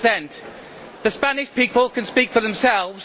40. The Spanish people can speak for themselves.